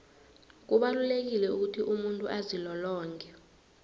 kubalulekile ukuthi umuntu azilolonge